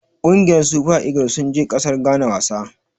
Ƙungiyar Super eagle sun je ƙasar Ghana wasa.